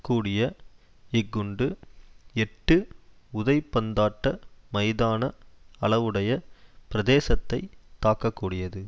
கூடிய இக்குண்டு எட்டு உதைபந்தாட்ட மைதான அளவுடைய பிரதேசத்தை தாக்ககூடியது